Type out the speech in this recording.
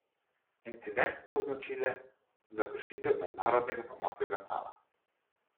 Incident so označile za kršitev mednarodnega pomorskega prava.